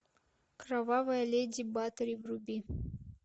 кровавая леди батори вруби